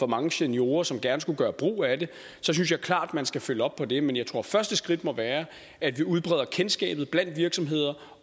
mange seniorer som gerne skulle gøre brug af det synes jeg klart at man skal følge op på det men jeg tror at første skridt må være at vi udbreder kendskabet blandt virksomheder